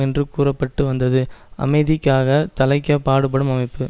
என்று கூற பட்டு வந்தது அமைதிக்காக தழைக்கப் பாடுபடும் அமைப்பு